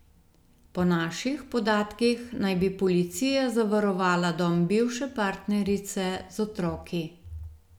Po naših podatkih naj bi policija zavarovala dom bivše partnerice z otroki.